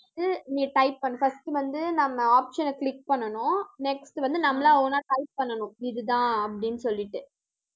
நீ type பண்ணு first வந்து நம்ம option அ click பண்ணணும் next வந்து, நம்மளா own ஆ type பண்ணணும். இதுதான் அப்படின்னு சொல்லிட்டு